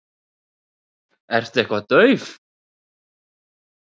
Ertu eitthvað dauf?